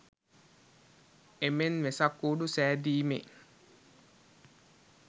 ඒමෙන් වෙසක් කූඩු සෑදිමේ